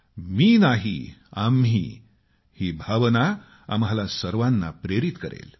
मी नाही आम्ही ही भावना आम्हाला सर्वाना प्रेरित करेल